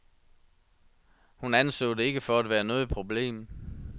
Hun anså det ikke for at være noget problem.